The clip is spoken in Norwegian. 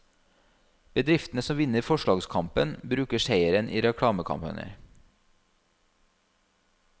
Bedriftene som vinner forslagskampen bruker seieren i reklamekampanjer.